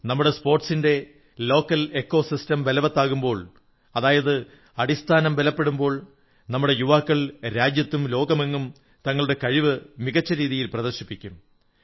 നമ്മുടെ സ്പോർട്സിന്റെ തദ്ദേശിയ പരിസ്ഥിതി ബലവത്താകുമ്പോൾ അതായത് നമ്മുടെ അടിസ്ഥാനം ബലപ്പെടുമ്പോൾ നമ്മുടെ യുവാക്കൾ രാജ്യത്തും ലോകമെങ്ങും തങ്ങളുടെ കഴിവ് മികച്ച രീതിയിൽ പ്രദർശിപ്പിക്കും